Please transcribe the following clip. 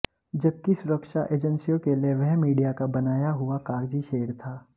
जबकि सुरक्षा एजेंसियों के लिए वह मीडिया का बनाया हुआ कागजी शेर था